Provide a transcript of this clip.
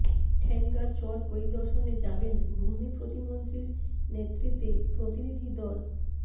ঠেঙ্গার চর পরিদর্শনে যাবেন ভূমি প্রতিমন্ত্রীর নেতৃত্বে প্রতিনিধি দল